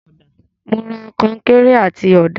Mo ra końkéré àti ọ̀dà.